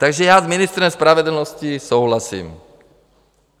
Takže já s ministrem spravedlnosti souhlasím.